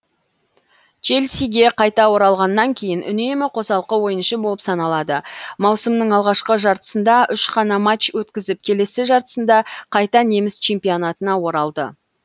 челсиге қайта оралғаннан кейін үнемі қосалқы ойыншы болып саналды маусымның алғашқы жартысында үш қана матч өткізіп келесі жартысында қайта неміс чемпионатына оралды